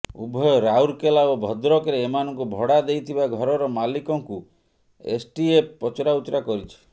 ଉଭୟ ରାଉରକେଲା ଓ ଭଦ୍ରକରେ ଏମାନଙ୍କୁ ଭଡ଼ା ଦେଇଥିବା ଘରର ମାଲିକଙ୍କୁ ଏସ୍ଟିଏଫ୍ ପଚରାଉଚରା କରିଛି